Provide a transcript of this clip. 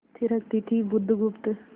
थिरकती थी बुधगुप्त